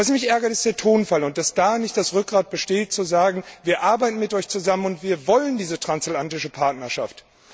Was mich ärgert, ist der Tonfall, und dass da nicht das Rückgrat besteht zu sagen Wir arbeiten mit Euch zusammen und wir wollen diese transatlantische Partnerschaft.